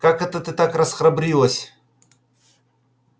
как это ты так расхрабрилась